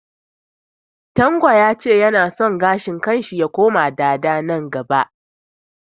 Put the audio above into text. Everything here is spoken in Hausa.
Tanko ya ce ya na son gashin kan shi ya koma dada nan gaba